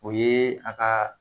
O ye a ka